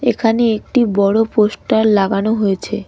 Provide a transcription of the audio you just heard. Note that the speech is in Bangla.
এখানে একটি বড় পোস্টার লাগানো হয়েছে.